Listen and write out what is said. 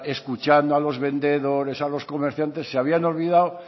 escuchando a los vendedores a los comerciantes se habían olvidado